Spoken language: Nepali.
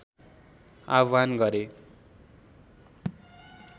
आह्वान गरे